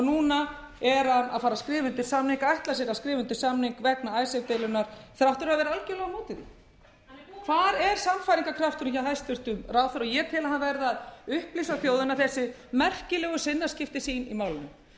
núna er hann að fara að skrifa undir samninga ætlar sér að skrifa undir samning vegna icesave deilunnar þrátt fyrir að vera algjörlega á móti henni hvar er sannfæringarkrafturinn hjá hæstvirtum ráðherra og ég tel að hann verði að upplýsa þjóðina um þessi merkilegu sinnaskipti sín í málinu